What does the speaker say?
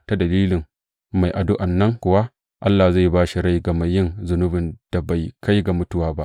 Ta dalilin mai addu’an nan kuwa, Allah zai ba da rai ga mai yin zunubin da bai kai ga mutuwa ba.